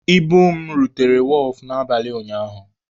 Ibu m rutere wọọfụ n'abalị ụnyaahụ.